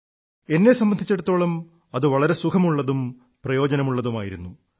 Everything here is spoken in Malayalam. എന്നെ സംബന്ധിച്ചിടത്തോളം അത് വളരെ സുഖമുള്ളതും പ്രയോജനമുള്ളതുമായിരുന്നു